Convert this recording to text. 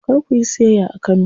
Kar kuyi siyayya a Kano.